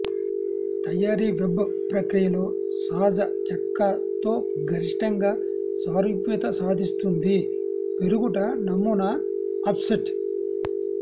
తయారీ వెబ్ ప్రక్రియలో సహజ చెక్క తో గరిష్టంగా సారూప్యత సాధిస్తుంది పెరుగుట నమూనా ఆఫ్సెట్